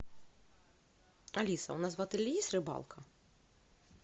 алиса у нас в отеле есть рыбалка